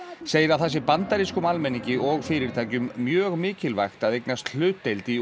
segir að það sé bandarískum almenningi og fyrirtækjum mjög mikilvægt að eignast hlutdeild í